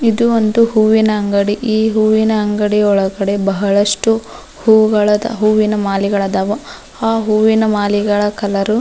ಇದು ಒಂದು ಹೂವಿನ ಅಂಗಡಿ ಈ ಹೂವಿನ ಅಂಗಡಿ ಒಳಗೆ ಬಹಳಷ್ಟು ಹೂವಗಳದವ್ ಹೂವಿನ ಮಾಲೆಗಳದಾವು ಆ ಹೂವಿನ ಮಾಲೆಗಳ ಕಲರ್ --